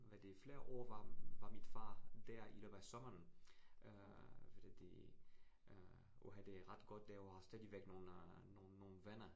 Hvad det flere år, var var min far dér i løbet af sommeren. Øh hvad det det øh uha det ret godt laver stadigvæk nogle øh nogle nogle venner